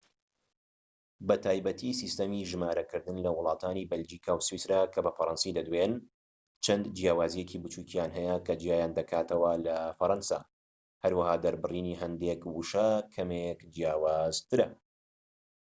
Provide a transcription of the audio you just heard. بە تایبەتی سیستەمی ژمارەکردن لە وڵاتانی بەلجیکا و سویسرا کە بە فەرەنسی دەدوێن چەند جیاوازیەکی بچوکیان هەیە کە جیایان دەکاتەوە لە فەرەنسا هەروەها دەربڕینی هەندێك وشە کەمێك جیاوازترە